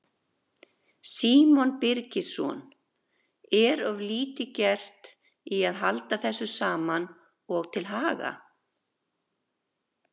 Símon Birgisson: Er of lítið gert í að halda þessu saman og til haga?